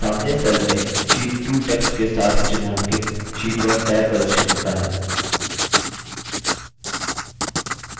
सामने cell में sheet 2 text के साथ चिह्नांकित sheet 1 टैब प्रदर्शित होता है